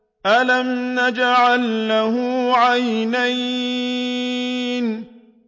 أَلَمْ نَجْعَل لَّهُ عَيْنَيْنِ